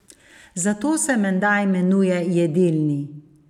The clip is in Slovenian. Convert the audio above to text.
Zato se menda imenuje jedilni?